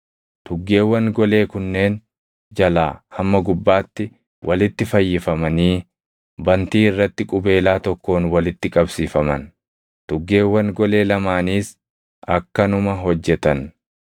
Tuggeewwan golee kunneen jalaa hamma gubbaatti walitti fayyifamanii bantii irratti qubeelaa tokkoon walitti qabsiifaman; tuggeewwan golee lamaaniis akkanuma hojjetan.